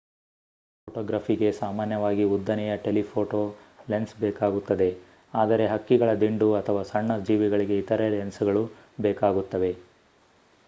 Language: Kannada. ವನ್ಯಜೀವಿ ಫೋಟೋಗ್ರಫಿಗೆ ಸಾಮಾನ್ಯವಾಗಿ ಉದ್ದನೆಯ ಟೆಲಿಫೋಟೋ ಲೆನ್ಸ್‌ ಬೇಕಾಗುತ್ತದೆ ಆದರೆ ಹಕ್ಕಿಗಳ ದಿಂಡು ಅಥವಾ ಸಣ್ಣ ಜೀವಿಗಳಿಗೆ ಇತರ ಲೆನ್ಸ್‌ಗಳು ಬೇಕಾಗುತ್ತವೆ